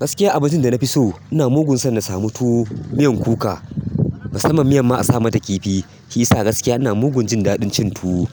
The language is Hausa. Gaskiya abincin da na fi so ina mugun son na samu tuwo, miyan kuka. Musamman miyan ma asa mata kifi shiyasa gaskiya ina mugun jin dafin cin tuwo